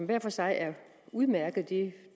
hver for sig udmærkede det